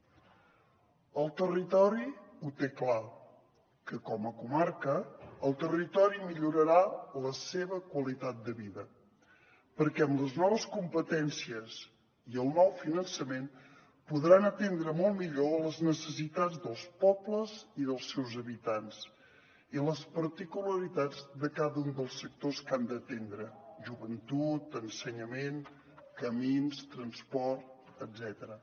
el territori ho té clar que com a comarca el territori millorarà la seva qualitat de vida perquè amb les noves competències i el nou finançament podran atendre molt millor les necessitats dels pobles i dels seus habitants i les particularitats de cada un dels sectors que han d’atendre joventut ensenyament camins transport etcètera